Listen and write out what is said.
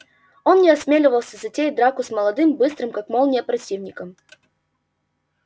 он не осмеливался затеять драку с молодым быстрым как молния противником